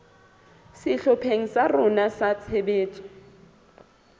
sehlopheng sa rona sa tshebetso